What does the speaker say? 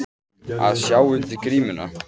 Að sjá undir grímuna